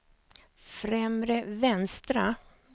främre vänstra